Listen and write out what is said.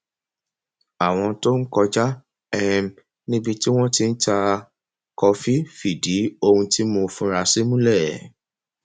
àwọn tó ń kọjá um níbi tí wọn ti ń ta kọfí fìdí ohun tí mo fura sí múlẹ